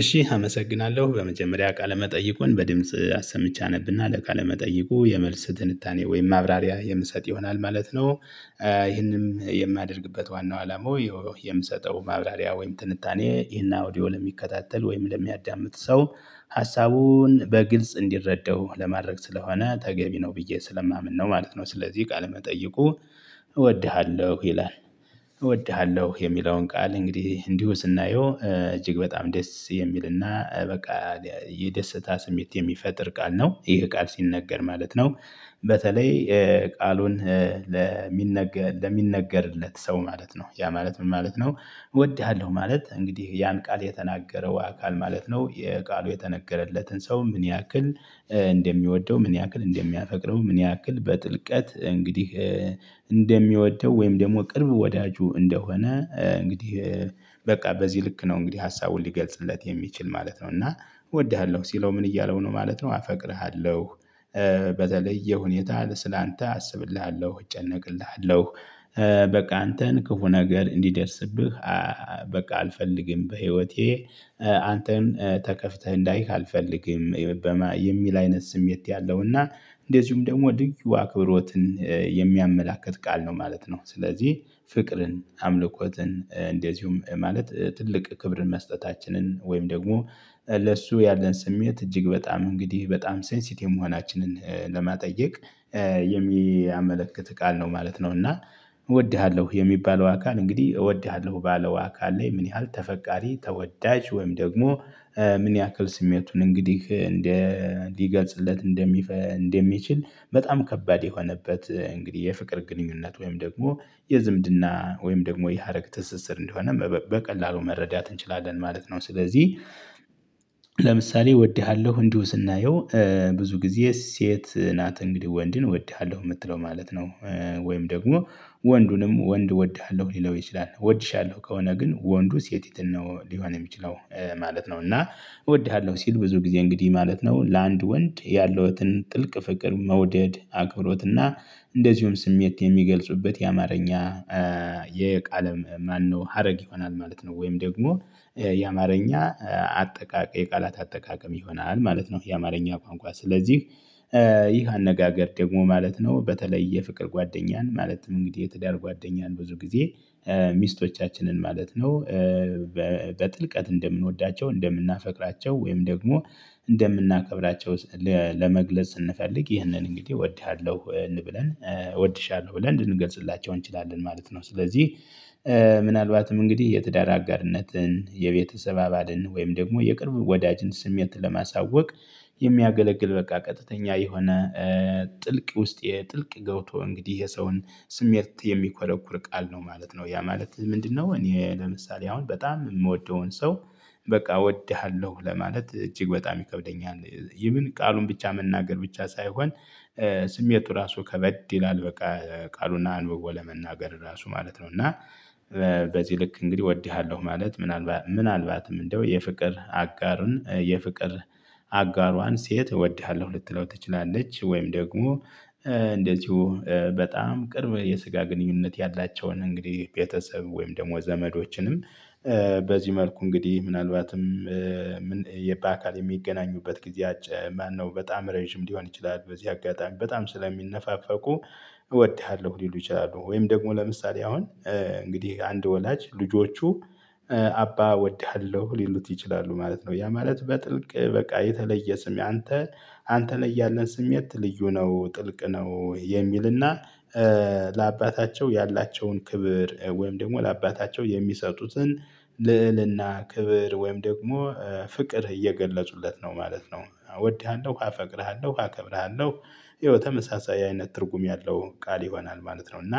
እሺ አመሰግናለሁ በመጀመሪያ ቃለ መጠይቁን በድምጽ አሰምቼ አነብና ለቃለ መጠይቁ የመልስ ትንታኔ ወይም ማብራሪያ የምሰጥ ይሆናል ማለት ነው። ይህንን የማደርግበት ዋናው አላማው የምሰጠው ማብራሪያ ወይም ትንታኔ ይሄን አውዲዮ ለሚከታተል ወይም ለሚያዳምጥ ሰው ሀሳቡን በግልጽ እንዲረዳው ለማድረግ ስለሆነ ተገቢ ነው ብዬ ስለማምን ነው ማለት ነው። ስለዚህ ቃል መጠይቁ እወድሃለሁ ይላል። እወድሃለሁ የሚለውን ቃል እንግዲህ እንዲሁ ስናየው እጅግ በጣም ደስ የሚልና በቃ የደስታ ስሜት የሚፈጥር ቃል ነው ይሄ ቃል ሲነገር ማለት ነው። በተለይ ቃሉን ለሚነገር ለሚነገርለት ሰው ማለት ነው ያ ማለት ምን ማለት ነው? እወድሃለሁ ማለት እንግዲህ ያን ቃል የተናገረው አካል ማለት ነው። የቃሉ የተነገረለትን ሰው ምን ያክል እንደሚወደው ምን ያክል እንደሚያፈቅረው ምን ያክል በጥልቀት እንግዲህ እንደሚወደው ወይም ደግሞ ቅርብ ወዳጁ እንደሆነ እንግዲህ በቃ በዚህ ልክ ነው እንግዲህ ሀሳቡን ሊገልጽለት የሚችል ማለት ነው። እና እወድሃለሁ ሲለው ምን እያለው ነው ማለት ነው። አፈቅርሃለሁ በተለየ ሁኔታ ስለአንተ አስብልሃለሁ እጨነቅልሃለሁ በቃ አንተን ክፉ ነገር እንዲደርስብህ በቃ አልፈልግም በህይወቴ አንተን ተከፍተህ እንዳይህ አልፈልግም። የሚል አይነት ስሜት ያለው እና እንደዚሁም ደግሞ ልዩ ክብሮትን የሚያመላክት ቃል ነው ማለት ነው። ስለዚህ ፍቅርን አምልኮትን እንደዚሁም ማለት ትልቅ ክብርን መስጠታችንን ወይም ደግሞ ለእሱ ያለን ስሜት እጅግ በጣም እንግዲህ በጣም ሴንሲቲ የመሆናችንን ለማጠየቅ የሚያመለክት ቃል ነው ማለት ነው። እና እወድሃለሁ የሚባለው አካል እንግዲህ እወድሃለሁ ባለው አካል ላይ ምን ያህል ተፈቃሪ ተወዳጅ ወይም ደግሞ ምን ያክል ስሜቱን እንግዲህ እንዲገልጽለት እንደሚፈል እንደሚችል በጣም ከባድ የሆነበት እንግዲህ የፍቅር ግንኙነት ወይም ደግሞ የዝምድና ወይም ደግሞ የሀረግ ትስስር እንደሆነም በቀላሉ መረዳት እንችላለን ማለት ነው። ስለዚህ ለምሳሌ እወድሃለሁ እንዲሁ ስናየው ብዙ ጊዜ ሴት ናት እንግዲህ ወንድን እወድሃለሁ የምትለው ማለት ነው ወይም ደግሞ ወንዱንም ወንድ እወድሃለሁ ሊለው ይችላል እወድሻለሁ ከሆነ ግን ወንዱ ሴቲትን ነው ሊሆን የሚችለው ማለት ነው። እና እወድሃለሁ ሲል ብዙ ጊዜ እንግዲህ ማለት ነው ለአንድ ወንድ ያለውን ጥልቅ ፍቅር መውደድ አክብሮትና እንደዚሁም ስሜት የሚገልጹበት የአማርኛ የቃል ማነው ሀረግ ይሆናል ማለት ነው። ወይም ደግሞ የአማርኛ አጠቃቀም የቃላት አጠቃቀም ይሆናል ማለት ነው። የአማርኛ ቋንቋ ስለዚህ ይህ አነጋገር ደግሞ ማለት ነው በተለይ የፍቅር ጓደኛን ማለትም እንግዲህ የትዳር ጓደኛን ብዙ ጊዜ ሚስቶቻችንን ማለት ነው። በጥልቀት እንደምንወዳቸው እንደምናፈቅራቸው ወይም ደግሞ እንደምናከብራቸው ለመግለጽ ስንፈልግ ይህንን እንግዲህ እወድሃለሁ እንብለን እወድሻለሁ ብለን እንድንገልጽላቸው እንችላለን ማለት ነው። ስለዚህ ምናልባትም እንግዲህ የትዳር አጋርነትን የቤተሰብ አባልን ወይም ደግሞ የቅርብ ወዳጅን ስሜት ለማሳወቅ የሚያገለግል በቃ ቀጥተኛ የሆነ ጥልቅ ውስጥ የጥልቅ ገውቶ እንግዲህ የሰውን ስሜት የሚኮረኩር ቃል ነው ማለት ነው። ያ ማለት ምንድነው? እኔ ለምሳሌ አሁን በጣም የምወደውን ሰው በቃ እወድሃለሁ ለማለት እጅግ በጣም ይከብደኛል። ይህን ቃሉን ብቻ መናገር ብቻ ሳይሆን ስሜቱ ራሱ ከበድ ይላል በቃ ቃሉን አንብቦ ለመናገር ራሱ ማለት ነው። እና በዚህ ልክ እንግዲህ እወድሃለሁ ማለት ምናልባት ምናልባትም እንደው የፍቅር አጋርን የፍቅር አጋሯን ሴት እወድሃለሁ ልትለው ትችላለች። ወይም ደግሞ እንደዚሁ በጣም ቅርብ የስጋ ግንኙነት ያላቸውን እንግዲህ ቤተሰብ ወይም ደግሞ ዘመዶችንም በዚህ መልኩ እንግዲህ ምናልባትም የአካል የሚገናኙበት ጊዜ አጭር ማነው በጣም ረጅም ሊሆን ይችላል በዚህ አጋጣሚ በጣም ስለሚነፋፈቁ እወድሃለሁ ሊሉ ይችላሉ። ወይም ደግሞ ለምሳሌ አሁን እንግዲህ አንድ ወላጅ ልጆቹ አባ እወድሃለሁ ሊሉት ይችላሉ ማለት ነው። ያ ማለት በጥልቅ በቃ የተለየ ስሜ አንተ አንተ ላይ ያለን ስሜት ልዩ ነው ጥልቅ ነው የሚልና ለአባታቸው ያላቸውን ክብር ወይም ደግሞ ለአባታቸው የሚሰጡትን ልዕልና ክብር ወይም ደግሞ ፍቅር እየገለጹለት ነው ማለት ነው። እወድሃለሁ አ እፈቅርሃለሁ አከብርሃለሁ ይኸው ተመሳሳይ አይነት ትርጉም ያለው ቃል ይሆናል ማለት ነው። እና